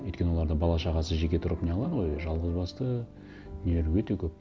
өйткені оларда бала шағасы жеке тұрып не қылады ғой жалғыз басты нелер өте көп